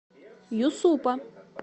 юсупа